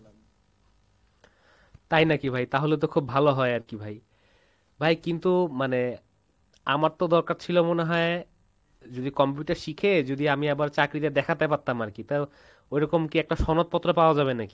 তাই নাকি ভাই, তাহলে তো খুব ভালো হয় আরকি ভাই, ভাই কিন্তু মানে আমার তো দরকার ছিল মনে হয় যদি Computer শিখে যদি আমি আবার চাকরিতে দেখাতে পারতাম আরকি তো ঐরকম কি একটা সনদপত্র পাওয়া যাবে নাকি?